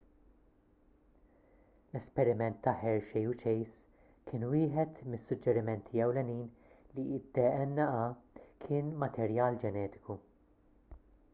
l-esperiment ta' hershey u chase kien wieħed mis-suġġerimenti ewlenin li d-dna kien materjal ġenetiku